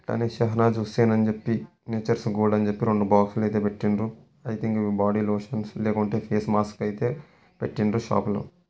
''షహనాస్ హుస్సేన్ అని చెప్పి nature's god అని చెప్పి అయితే పెట్టిండ్రు ఐ థింక్ ఇది బాడీ లోషన్స్ లేకుంటే ఫేస్ మాస్క్ అయితే పెట్టిండ్రు షాప్ లో.''